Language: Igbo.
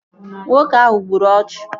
Nwoke ahụ gburu ọchụ